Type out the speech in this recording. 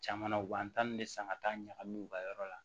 Caman na u b'an ta nin de san ka taa ɲagami u ka yɔrɔ la